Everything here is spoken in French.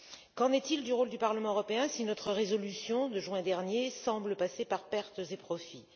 Qu'en est il du rôle du Parlement européen si notre résolution de juin dernier semble passer en pertes et profits?